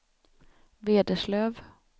Vederslöv